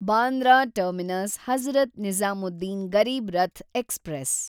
Bandra terminus Hazrat Nizamuddin Garib Rath express